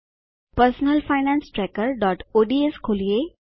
personal finance trackerઓડ્સ ખોલીએ